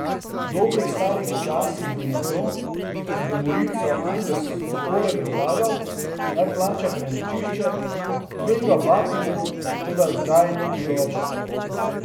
V dobrih starih časih bi nekdo, ki bi Morilcu Andersu takole predlagal, naj plača prenočišče, tvegal batine, toda zdaj ni bilo več tako.